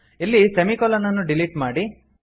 ಇಲ್ಲಿ ಸೆಮಿಕೊಲನ್ ಅನ್ನು ಡಿಲೀಟ್ ಮಾಡಿ